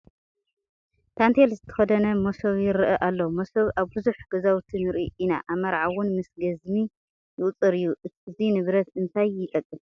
ታንቴል ዝተኸደነ መሶብ ይርአ ኣሎ፡፡ መሶብ ኣብ ብዙሕ ገዛውቲ ንርኢ ኢና፡፡ ኣብ መርዓ እውን ምስ ገዝሚ ይቑፀር እዩ፡፡ እዚ ንብረት እንታይ ይጠቅም?